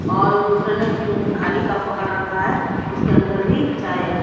और दूसरे ने खाली कप पकड़ रखा है उसके अंदर भी चाय है।